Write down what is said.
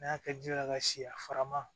N'a y'a kɛ ji la ka si a fara ma